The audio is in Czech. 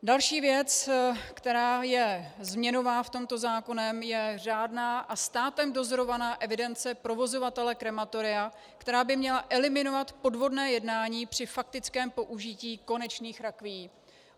Další věc, která je změnová v tomto zákoně, je řádná a státem dozorovaná evidence provozovatele krematoria, která by měla eliminovat podvodné jednání při faktickém použití konečných rakví.